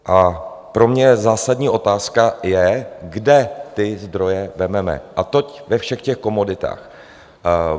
A pro mě zásadní otázka je, kde ty zdroje vezmeme, a to ve všech těch komoditách.